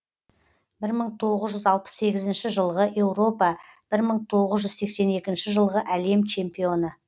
бір мың тоғыз жүз алпыс сегізінші жылғы еуропа бір мың тоғыз жүз сексен екінші жылғы әлем чемпионы